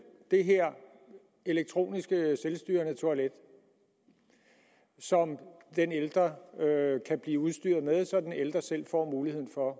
det her elektroniske selvstyrende toilet som den ældre kan blive udstyret med så den ældre selv får muligheden for